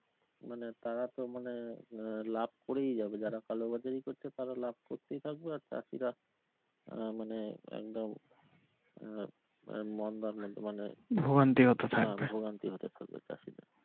মানে তারা তো মানে মানে লাভ করেই যাবে যারা কালো বাজারি করছে তারা লাভ করতেই থাকবে আর চাষিরা আহ মানে একদম আহ মন্দার মধ্যে মানে ভোগান্তির হতে থাকবে চাষিদের।